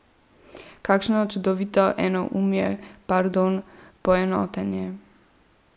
Kakšno čudovito enoumje, pardon, poenotenje.